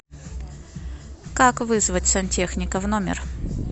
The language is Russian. как вызвать сантехника в номер